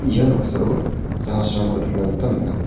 ia noksao jahasrangko nikna gita man·a.